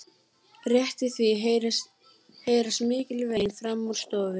Rétt í því heyrast mikil vein framan úr stofu.